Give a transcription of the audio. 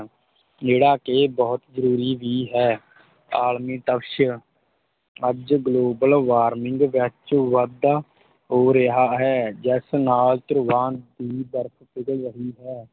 ਜਿਹੜਾ ਕਿ ਬਹੁਤ ਜਰੂਰੀ ਵੀ ਹੈ ਆਲਮੀ ਤਪਸ਼ ਅੱਜ global warming ਵਿੱਚ ਵਾਧਾ ਹੋ ਰਿਹਾ ਹੈ, ਜਿਸ ਨਾਲ ਧਰੁਵਾਂ ਦੀ ਬਰਫ ਪਿਘਲ ਰਹੀ ਹੈ।